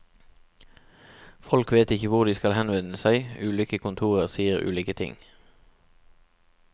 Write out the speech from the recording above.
Folk vet ikke hvor de skal henvende seg, ulike kontorer sier ulike ting.